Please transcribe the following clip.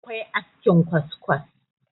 akwai askin kwaskwas